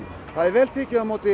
það er vel tekið á móti